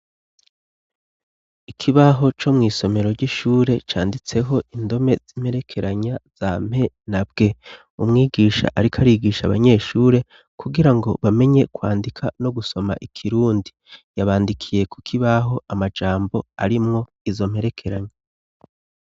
Ikibaho co mw'isomero ry'ishure canditseho indome zimperekeranya za mpena bwe umwigisha, ariko arigisha abanyeshure kugira ngo bamenye kwandika no gusoma ikirundi yabandikiye kukibaho amajambo arimwo izo mperekeranya.